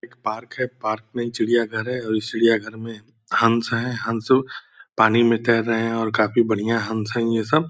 एक पार्क है पार्क मे चिड़िया घर है और इस चिड़िया घर मे हंस हैं हंस पानी में तैर रहे हैं और काफी बढ़िया हंस हैं ये सब ।